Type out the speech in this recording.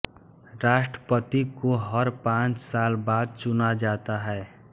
राष्ट्रपति को हर पाँच साल बाद चुना जाता है